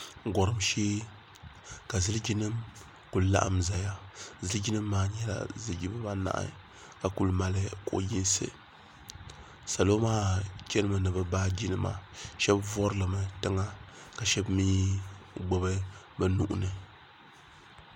Gɔrim shee ka ziliji nima ku laɣim zaya ziliji nim maa nyɛla ziliji bi baa anahi ka kuli mali kuɣu yinisi salo maa chana mi ni bi baaji nima shɛba vuri li mi tiŋa ka shɛba mi gbubi bi nuhi ni.